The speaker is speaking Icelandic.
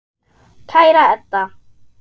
Kæra Edda.